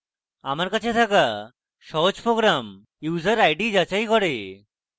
আমার কাছে থাকা সহজ program user id যাচাই করে